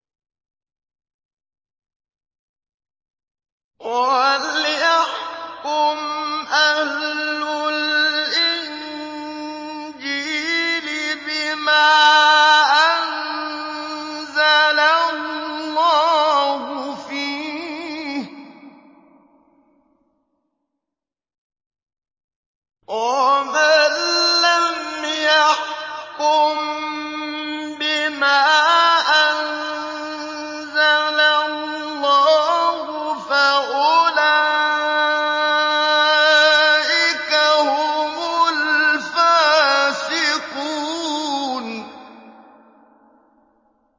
وَلْيَحْكُمْ أَهْلُ الْإِنجِيلِ بِمَا أَنزَلَ اللَّهُ فِيهِ ۚ وَمَن لَّمْ يَحْكُم بِمَا أَنزَلَ اللَّهُ فَأُولَٰئِكَ هُمُ الْفَاسِقُونَ